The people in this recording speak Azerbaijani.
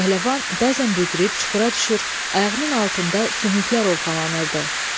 Pəhləvan bəzən büdrüb çuxura düşür, ayağının altında sümüklər ovxalanırdı.